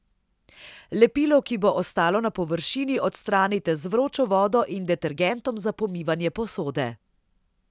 Lepilo, ki bo ostalo na površini, odstranite z vročo vodo in detergentom za pomivanje posode.